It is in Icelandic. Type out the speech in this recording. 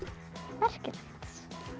merkilegt